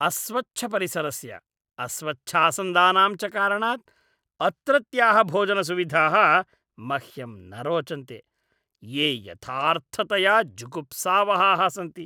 अस्वच्छपरिसरस्य, अस्वच्छासन्दानां च कारणात् अत्रत्याः भोजनसुविधाः मह्यं न रोचन्ते, ये यथार्थतया जुगुप्सावहाः सन्ति।